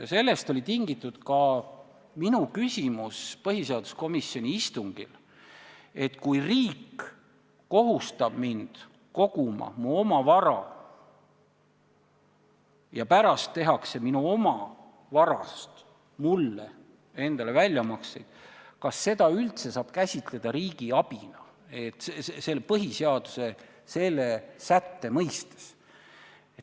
Sellest tulenes ka minu küsimus põhiseaduskomisjoni istungil, et kui riik kohustab mind koguma mu oma vara ja pärast tehakse minu oma varast mulle endale väljamakseid, siis kas seda üldse saab käsitleda riigi abina põhiseaduse selle sätte mõistes.